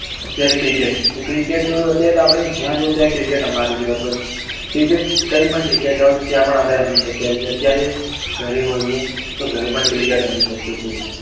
અત્યારે cricket cricket અત્યારે તો આપને જ્યાં જઈએ ત્યાં બધે રમાતી જ હોય છે cricket કઈ પણ જગ્યા એ જાવ તો ત્યાં પણ આપણે રમી શકીએ છીએ ક્યારેક ઘરે હોઈએ તો ઘરે પણ રમી શકીએ છીએ.